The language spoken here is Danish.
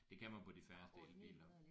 Det kan man på de færreste elbiler